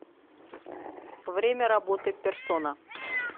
время работы персона